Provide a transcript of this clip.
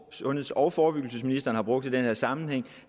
sundheds og forebyggelsesministeren har brugt i den her sammenhæng